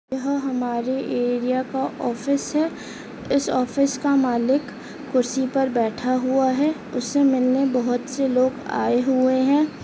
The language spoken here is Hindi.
यह हमारे एरिया का ऑफिस है इस ऑफिस का मालिक कुर्सी पर बैठा हुआ है उससे मिलने बहोत से लोग आये हुए है।